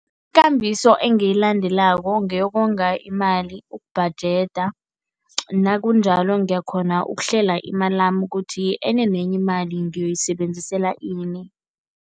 Ikambiso engiyilandelako ngeyokonga imali, ubhajeda. Nakunjalo ngiyakghona ukuhlela imalami ukuthi enye nenye imali ngiyoyisebenzisela ini.